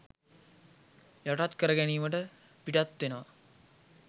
යටත් කරගැනීමට පිටත් වෙනවා